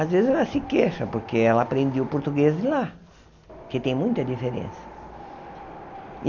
Às vezes ela se queixa, porque ela aprendeu português de lá, que tem muita diferença.